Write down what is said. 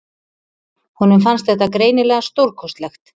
Honum fannst þetta greinilega stórkostlegt.